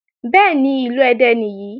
Bẹ́ẹ̀ni, ìlú Ẹdẹ nìyí.